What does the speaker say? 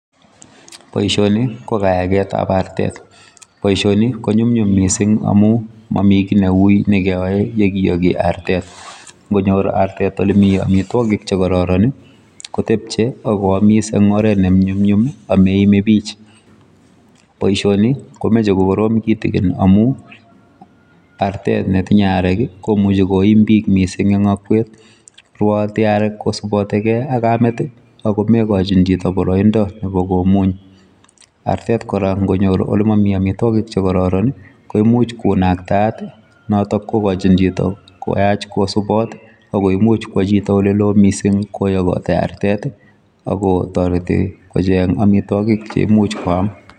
Boisioni ko kayaketap artet. Boisioni konyumnyum mising amu mami kiy neuy nekeyoe yokiyoki artet. Nkonyor artet olemi amitwokik chekororon, kotepche ak koamis eng oret nenyumnyum ameime bich. Boisioni komeche kokorom kitikin amu artet netinye arek komuchi koim bich mising eng akwet. Rwooti arek kosubotikei ak kamet, ako mekochin chito boroindo nepo komuny. Artet kora nkonyor olemomi amitwokik chekororon koimuch konaktaat, notok kokochin chito koyach kosubot ako imuch kwo chito oleloo mising koyokoti artet ako toreti kocheng amitwokik cheimuch koam.